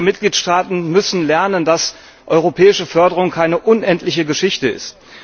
Einige Mitgliedstaaten müssen lernen, dass europäische Förderung keine unendliche Geschichte ist.